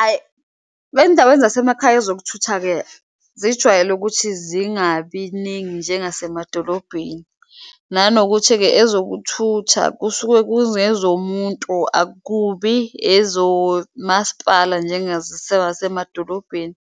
Ayi, kwey'ndaweni zasemakhaya ezokuthutha-ke zijwayele ukuthi zingabi ningi njengasemadolobheni nanokuthi-ke ezokuthutha kusuke kungezomuntu akubi ezomaspala, semadolobheni.